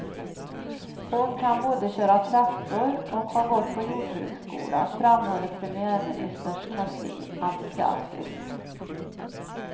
Hon kan både köra traktor och har gått på jordbruksskola, framhåller premiärministerns kansli entusiastiskt.